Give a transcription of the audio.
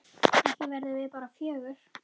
Ekki verðum við bara fjögur?